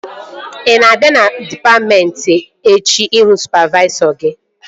Ị na-abịa dịpatmentị echi ịhụ sụpavaisọ gị?